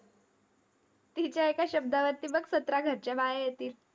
तिच्या एका शब्दावरती बघ, सतरा घरच्या बाया येतील.